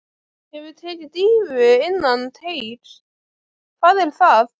Hefurðu tekið dýfu innan teigs: Hvað er það?